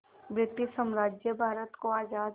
British साम्राज्य भारत को आज़ाद